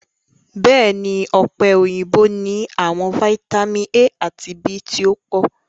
Bẹẹni, ọpe oyinbo ni awọn fitamin A ati B ti o po